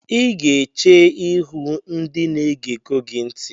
Ị ga-eche ihu ndị na-ege go ntị!